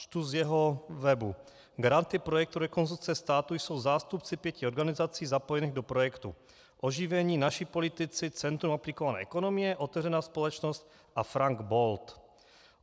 Čtu z jeho webu: Garanty projektu Rekonstrukce státu jsou zástupci pěti organizací zapojených do projektů Oživení, Naši politici, Centrum aplikované ekonomie, Otevřená společnost a Frank Bold.